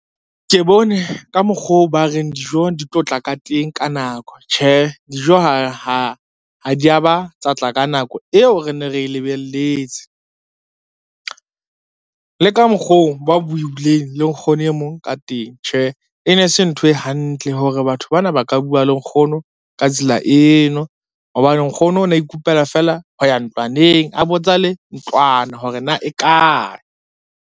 Ke bone ka mokgoo ba reng dijo di tlo tla ka teng ka nako, tjhe dijo ha di a ba tsa tla ka nako eo re ne re lebelletse. Le ka mokgoo ba buileng le nkgono e mong ka teng, tjhe e ne e se ntho e hantle hore batho bana ba ka bua le nkgono ka tsela eno, hobane nkgono na ikopela fela ho ya ntlwaneng a botsa le ntlwana hore na e kae.